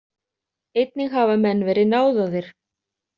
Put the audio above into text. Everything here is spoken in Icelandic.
Einnig hafa menn verið náðaðir.